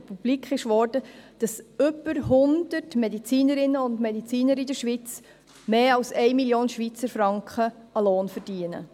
Dabei wurde publik, dass über in der Schweiz 100 Medizinerinnen und Mediziner mehr als 1 Mio. Franken Lohn erhalten.